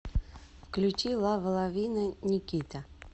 включи лава лавина никита